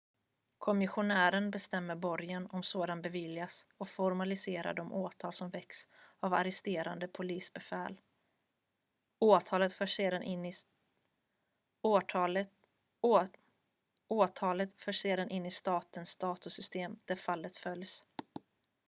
kommissionären bestämmer borgen om sådan beviljas och formaliserar de åtal som väckts av arresterande polisbefäl åtalet förs sedan in i statens datorsystem där fallet följs